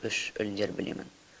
үш өлеңдер білемін